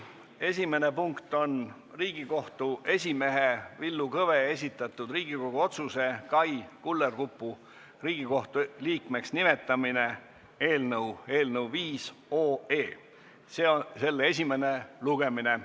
Esimene punkt on Riigikohtu esimehe Villu Kõve esitatud Riigikogu otsuse "Kai Kullerkupu Riigikohtu liikmeks nimetamine" eelnõu 5 esimene lugemine.